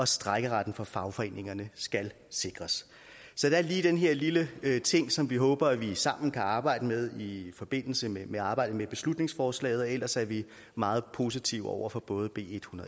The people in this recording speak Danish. strejkeretten for fagforeningerne skal sikres så der er lige den her lille ting som vi håber at vi sammen kan arbejde med i forbindelse med arbejdet med beslutningsforslaget og ellers er vi meget positive over for både b